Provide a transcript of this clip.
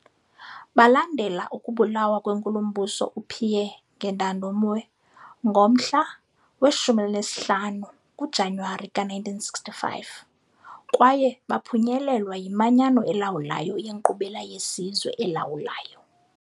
Balandela ukubulawa kweNkulumbuso uPierre Ngendandumwe ngomhla we-15 kuJanuwari ka-1965, kwaye baphunyelelwa yiManyano elawulayo yeNkqubela yeSizwe. elawulayo.